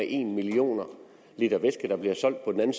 en millioner liter væske der blev solgt på den